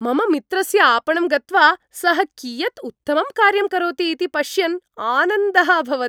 मम मित्रस्य आपणं गत्वा सः कियत् उत्तमं कार्यं करोति इति पश्यन् आनन्दः अभवत्।